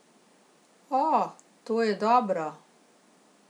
O, to je dobro.